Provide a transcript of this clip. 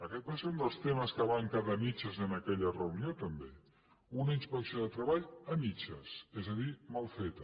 aquest va ser un dels temes que van quedar a mitges en aquella reunió també una inspecció de treball a mitges és a dir mal feta